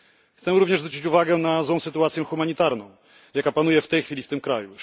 Chcemy również zwrócić uwagę na złą sytuację humanitarną, jaka panuje w tej chwili w tym kraju.